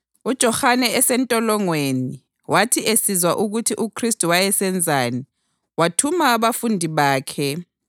UJohane esentolongweni wathi esizwa ukuthi uKhristu wayesenzani, wathuma abafundi bakhe